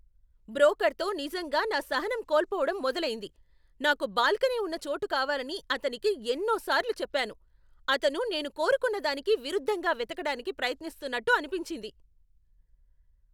బ్రోకర్తో నిజంగా నా సహనం కోల్పోవడం మొదలయింది. నాకు బాల్కనీ ఉన్న చోటు కావాలని అతనికి ఎన్నో సార్లు చెప్పాను. అతను నేను కోరుకున్నదానికి విరుద్ధంగా వెతకడానికి ప్రయత్నిస్తున్నట్టు అనిపించింది.